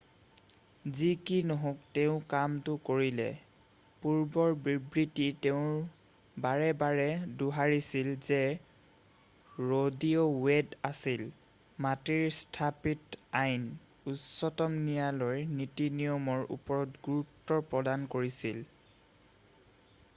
"যি কি নহওক তেওঁ কামটো কৰিলে পূৰ্বৰ বিবৃতি তেওঁ বাৰে বাৰে দোহাৰিছিল যে ৰ' ভি. ৱেড আছিল "মাটিৰ স্থাপিত আইন" উচ্চতম ন্যায়ালয়ৰ নীতি-নিয়মৰ ওপৰত গুৰুত্ব প্ৰদান কৰিছিল।""